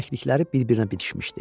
dirsəklikləri bir-birinə bitişmişdi.